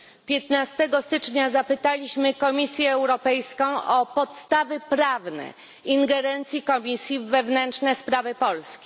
15 stycznia zapytaliśmy Komisję Europejską o podstawy prawne ingerencji Komisji w wewnętrzne sprawy Polski.